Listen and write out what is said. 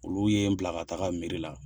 Olu ye n bila ka taga mɛri la.